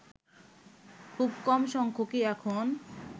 খুব কম সংখ্যকই এখন